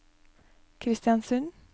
Kristiansund